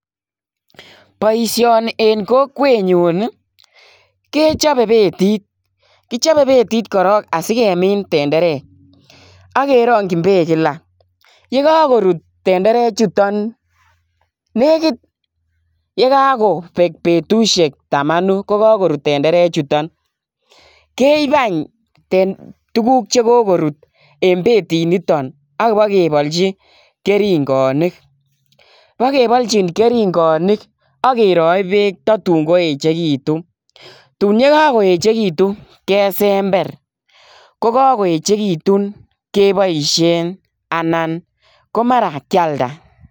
Boisioni eng kokwet nyun kechobe betit kichobe betit korok asikemin tenderek akerongji beek kila yekakorut tenderechuton nekit yekekobek betusiek tamanu kokakorur tenderechutok keib any tuguk chekikorut eng betit niton akebalchi keringonik akeroi beek tun koechekitu tun kakoechekitu kesember yekekoechekitu keboisien ana mara kealda.